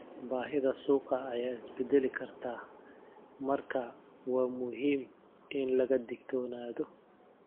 Baahida suuqa ayaa isbedeli karta, marka waa muhiim in laga digtoonaado.